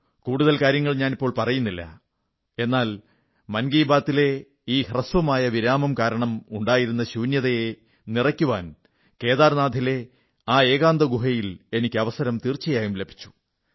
കൂടുതൽ കാര്യങ്ങൾ ഞാനിപ്പോൾ പറയുന്നില്ല എന്നാൽ മൻ കീ ബാത്തി ലെ ഈ അല്പകാലത്തെ വിരാമം കാരണം ഉണ്ടായിരുന്ന ശൂന്യതയെ നിറയ്ക്കുവാൻ കേദാർനാഥിലെ ആ ഏകാന്തഗുഹയിൽ എനിക്ക് അവസരം തീർച്ചയായും ലഭിച്ചു